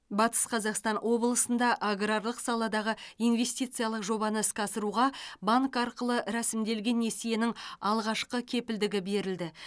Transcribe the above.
батыс қазақстан облысында аграрлық саладағы инвестициялық жобаны іске асыруға банк арқылы рәсімделген несиенің алғашқы кепілдігі берілді